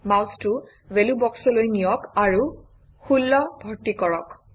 মাউচটো ভেলুবক্সলৈ নিয়ক আৰু 16 ভৰ্তি কৰক